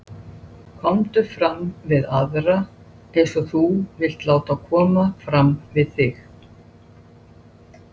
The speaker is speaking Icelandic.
Efnablöndur sem valda ófrjósemi